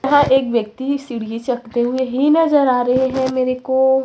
यहां एक व्यक्ति सीढ़ी चकते हुए ही नजर आ रहे हैं मेरे को--